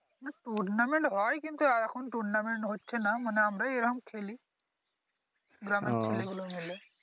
Tournament হয় কিন্তু এখন Tournament হচ্ছে না মানে আমরাই এইরকম খেলি গ্রামের ছেলে গুলো মিলে